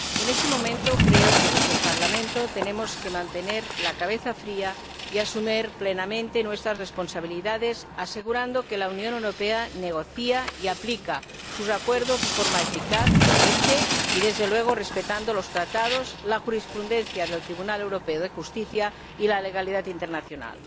En este momento creo que desde el Parlamento tenemos que mantener la cabeza fría y asumir plenamente nuestras responsabilidades, asegurando que la Unión Europea negocia y aplica sus acuerdos de forma eficaz, coherente y, desde luego, respetando los Tratados, la jurisprudencia del Tribunal Europeo de Justicia y la legalidad internacional.